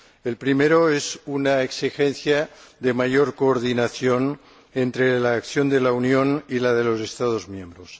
El primero es una exigencia de mayor coordinación entre la acción de la Unión y la de los Estados miembros.